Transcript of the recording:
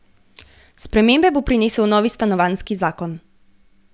Spremembe bo prinesel novi stanovanjski zakon.